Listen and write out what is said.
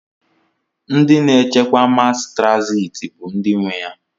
Ndi na echekwa mas traziti bu ndi nwe ya.